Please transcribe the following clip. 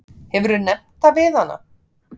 Hefurðu nefnt það við hana?